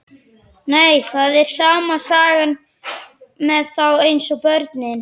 Nei, það er sama sagan með þá eins og börnin.